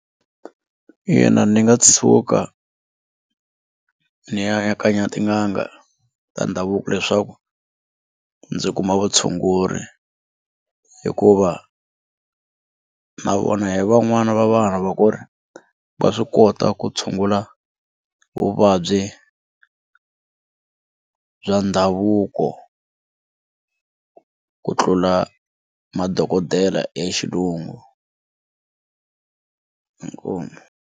Ina ndzi nga tshuka ndzi ya ka tin'anga ta ndhavuko leswaku ndzi kuma vutshunguri hikuva na vona hi van'wana va vanhu va ku ri va swi kota ku tshungula vuvabyi bya ndhavuko ku tlula madokodela ya xilungu inkomu.